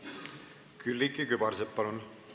Külliki Kübarsepp, palun!